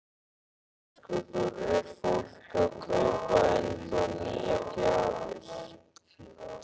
Höskuldur: Er fólk að kaupa ennþá nýjar gjafir?